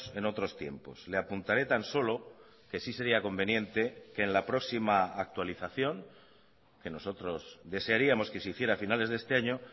en otros tiempos le apuntaré tan solo que sí sería conveniente que en la próxima actualización que nosotros desearíamos que se hiciera a finales de este año